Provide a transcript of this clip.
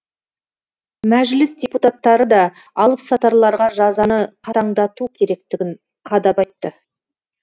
мәжіліс депутаттары да алыпсатарларға жазаны қатаңдату керектігін қадап айтты